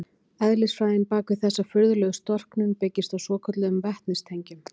Eðlisfræðin bak við þessa furðulegu storknun byggist á svokölluðum vetnistengjum.